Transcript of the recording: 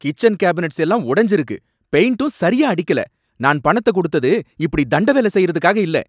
Kitchen cabinets எல்லாம் உடைஞ்சிருக்கு, பெயிண்ட்டும் சரியா அடிக்கல, நான் பணத்த குடுத்தது இப்புடி தண்ட வேல செய்யறதுக்காக இல்ல.